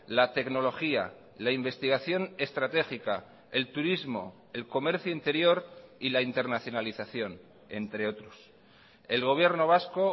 la tecnología la investigación estratégica el turismo el comercio interior y la internacionalización entre otros el gobierno vasco